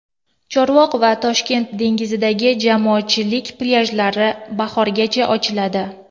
Chorvoq va Toshkent dengizidagi jamoatchilik plyajlari bahorgacha ochiladi.